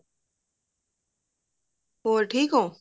ਹੋਰ ਠੀਕ ਹੋ